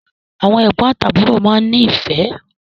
Àwọn ẹgbọn àti àbúrò máa n ni ifẹ.